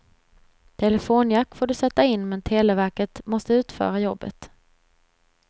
Telefonjack får du sätta in, men televerket måste utföra jobbet.